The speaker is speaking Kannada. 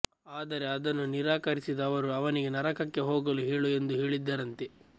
ಆದರೆ ಅದನ್ನು ನಿರಾಕರಿಸಿದ ಅವರು ಅವನಿಗೆ ನರಕಕ್ಕೆ ಹೋಗಲು ಹೇಳು ಎಂದು ಹೇಳಿದ್ದರಂತೆ